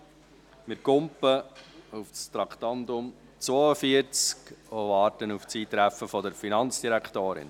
Wir springen zu Traktandum 42 und warten auf das Eintreffen der Finanzdirektorin.